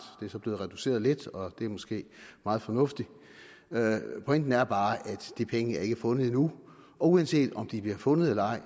er så blevet reduceret lidt og det er måske meget fornuftigt pointen er bare at de penge ikke er fundet endnu og uanset om de bliver fundet eller